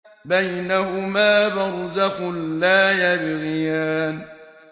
بَيْنَهُمَا بَرْزَخٌ لَّا يَبْغِيَانِ